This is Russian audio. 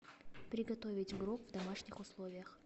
приготовить грог в домашних условиях